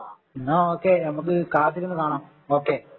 ന്നാ okay നമുക്ക് കാത്തിരുന്നു കാണാം ഓ കെ